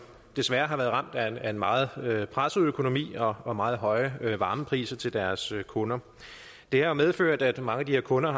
desværre har været ramt af en meget presset økonomi og og meget høje varmepriser til deres kunder det har medført at mange af de her kunder